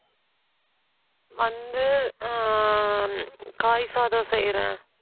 வந்து, ஆஹ் காய் சாதம் செய்யறேன்